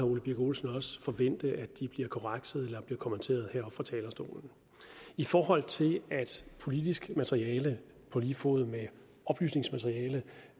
ole birk olesen også forvente det bliver korrekset eller kommenteret heroppe fra talerstolen i forhold til at politisk materiale på lige fod med oplysningsmateriale